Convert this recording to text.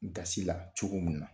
Gasi la cogo mun na